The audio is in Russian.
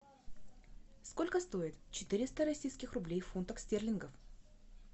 сколько стоит четыреста российских рублей в фунтах стерлингов